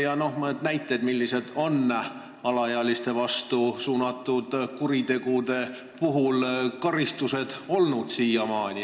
Ja ehk tood mõned näited, millised on alaealiste vastu suunatud kuritegude karistused siiamaani.